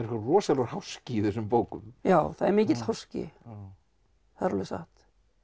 rosalegur háski í þessum bókum já það er mikill háski það er alveg satt